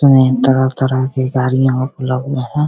सामने तरह-तरह की गाड़ियाँ और में है।